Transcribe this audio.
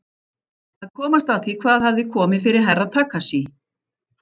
Að komast að því hvað hafði komið fyrir Herra Takashi.